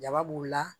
Jaba b'u la